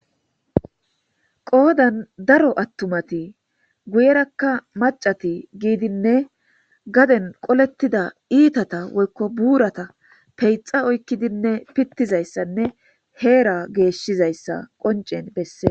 Qoodan daro attumati guyerakka macati giidinne gaden qolettida iitata woykko buurata peyxa oykkidinne pittizayssanne heera geeshshizayssa qoncen bessee